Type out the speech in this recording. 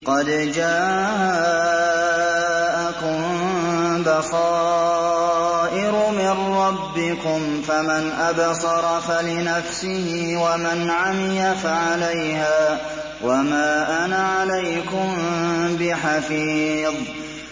قَدْ جَاءَكُم بَصَائِرُ مِن رَّبِّكُمْ ۖ فَمَنْ أَبْصَرَ فَلِنَفْسِهِ ۖ وَمَنْ عَمِيَ فَعَلَيْهَا ۚ وَمَا أَنَا عَلَيْكُم بِحَفِيظٍ